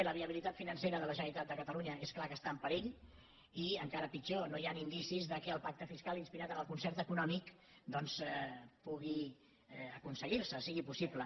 la viabilitat financera de la generalitat de catalunya és clar que està en perill i encara pitjor no hi han indicis que el pacte fiscal inspirat en el concert econòmic doncs pugui aconseguir se sigui possible